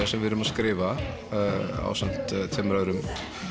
sem við erum að skrifa ásamt tveimur öðrum